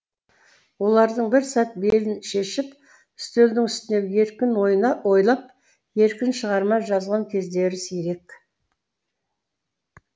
олардың бір сәт белін шешіп үстелдің үстінде еркін ойлап еркін шығарма жазған кездері сирек